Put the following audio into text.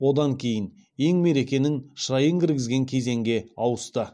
одан кейін ең мерекенің шырайын кіргізген кезеңге ауысты